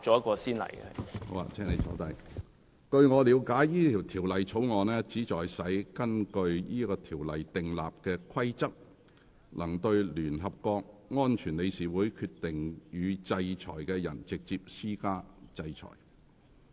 據我了解，該條例草案旨在使根據該條例訂立的規例，能對聯合國安全理事會決定予以制裁的人，直接施加制裁。